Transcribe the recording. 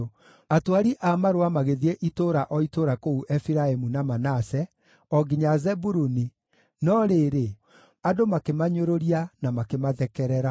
Atwari a marũa magĩthiĩ itũũra o itũũra kũu Efiraimu na Manase, o nginya Zebuluni, no rĩrĩ, andũ makĩmanyũrũria, na makĩmathekerera.